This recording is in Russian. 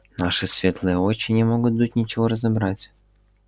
наши светлые очи не могут тут ничего разобрать